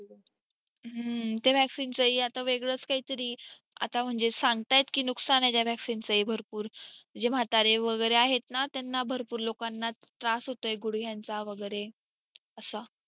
ते vaccine च ही आता वेगळं काही तरी सांगतायत की नुकसान आहे त्या vaccine च भरपूर जे म्हातारे वगेरे आहेत ना त्यांना भरपूर लोकांना त्रास होतोय गुड्घ्यांचा वगेरे असा